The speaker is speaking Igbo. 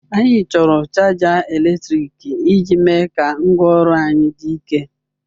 Anyị chọrọ chaja eletrik iji mee ka ngwaọrụ anyị dị ike.